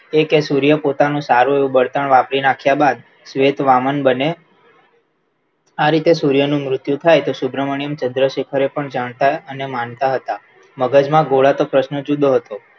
એ કે સૂર્ય પોતાનું સારું એવું બળતણ વાપરી નાખ્યા બાદ ખેત વામન બને આરીતે સૂર્યનું મુર્ત્યું થાય સુબ્રમણ્યમ ચંદ્રશેખર એ પણ જાણતા અને માનતા હતા મગજમાં ગોળાતો પ્રશ્ન જુદો હતો